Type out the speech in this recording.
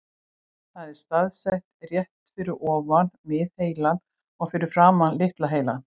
Það er staðsett rétt fyrir ofan miðheilann og fyrir framan litla heilann.